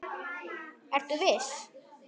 Ertu viss?